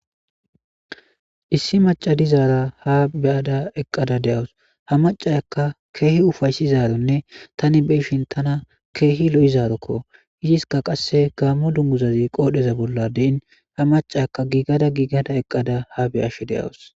issi maacca dizaara ha beyada eqqada de'awus ha macayakka keehi ufaysizaronne tani beishin tana keehi lo'izarokko yiziska qasse gammo dunguzazi qoodheza bolla deyin ha macaaka giigada giigada eqqada ha beyashe de'awus.